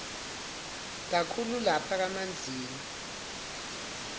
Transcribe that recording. kakhulu lapha kamanzini